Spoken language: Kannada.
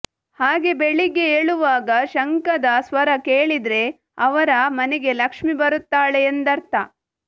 ಹಾಗೇ ಬೆಳಿಗ್ಗೆ ಏಳುವಾಗ ಶಂಖದ ಸ್ವರ ಕೇಳಿದ್ರೆ ಅವರ ಮನೆಗೆ ಲಕ್ಷ್ಮೀ ಬರುತ್ತಾಳೆ ಎಂದರ್ಥ